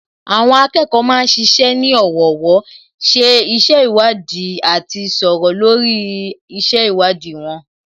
Àwọn akẹ́kọ̀ọ́ ma ń ṣiṣẹ́ ní ọ̀wọ̀ọ̀wọ́, ṣe iṣẹ́ ìwádìí àti sọ̀rọ̀ lórí iṣẹ́ ìwádìí wọn